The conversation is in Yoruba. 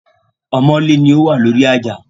Ọmọ́lé ni ó wà lórí àjà